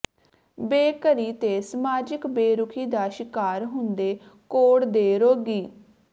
ਬੇਘਰੀ ਤੇ ਸਮਾਜਿਕ ਬੇਰੁਖ਼ੀ ਦਾ ਸ਼ਿਕਾਰ ਹੁੰਦੇ ਕੋੜ੍ਹ ਦੇ ਰੋਗੀ